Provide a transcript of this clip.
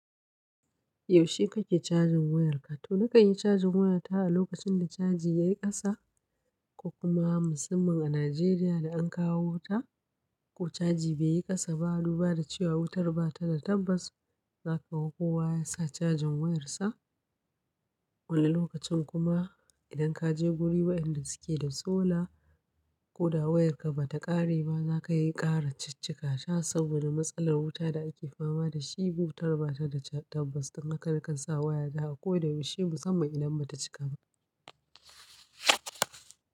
Yaushe kake cajin wayarka? To na kanyi cajin wayata a lokacin da caji yayi kasa. Ko kuma musamman a Najeriya da an kawo wuta ko caji baiyi kasa ba, dubada cewa wutar bata da tabbas. Zaka ga kowa yasa cajin wayarsa. Wani lokacin kuma idan kaje guri wayanda suke da solar ko da wayarka bata ƙare ba zakayi kara ciccika ta saboda matsalar wuta da ake fama dashi. Wutar bata da tabbas, don haka nakan sa wayata a ko da yaushe musamman idan bata cika ba.